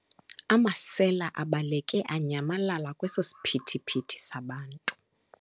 Amasela abaleke anyamalala kweso siphithiphithi sabantu.